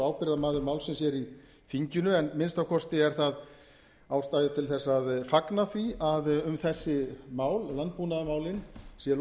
ábyrgðarmaður málsins hér í þinginu en að minnsta kosti er ástæða til þess að fagna því að um þessi mál landbúnaðarmálin sé